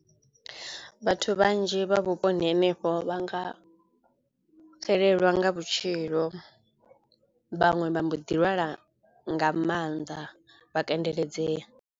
Vhathu vhanzhi vha vhuponi henefho vha nga xelelwa nga vhutshilo vhaṅwe vha mbo ḓi lwala nga maanḓa vha kandeledzea.